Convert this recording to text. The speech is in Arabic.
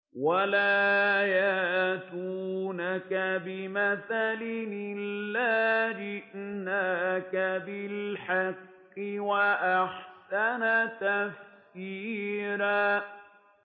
وَلَا يَأْتُونَكَ بِمَثَلٍ إِلَّا جِئْنَاكَ بِالْحَقِّ وَأَحْسَنَ تَفْسِيرًا